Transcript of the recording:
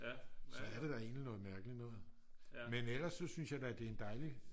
så er det da egentlig noget mærkeligt noget men ellers så synes jeg da det er en dejlig